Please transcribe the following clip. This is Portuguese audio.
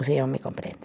O senhor me compreende.